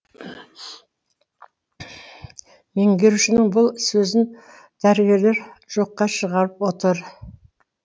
меңгерушінің бұл сөзін дәрігерлер жоққа шығарып отыр